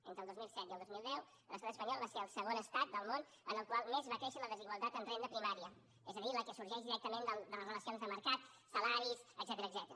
entre el dos mil set i el dos mil deu l’estat espanyol va ser el segon estat del món en el qual més va créixer la desigualtat en renda primària és a dir la que sorgeix directament de les relacions de mercat salaris etcètera